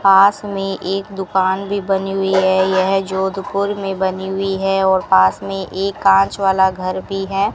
पास में एक दुकान भी बनी हुई है यह जोधपुर में बनी हुई है और पास में एक कांच वाला घर भी है।